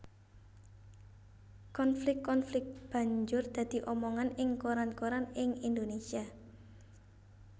Konflik konflik banjur dadi omongan ing koran koran ing Indonésia